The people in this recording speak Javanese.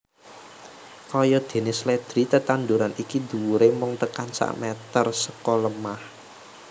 Kayadéné sledri tetanduran iki dhuwuré mung tekan sameter seka lemah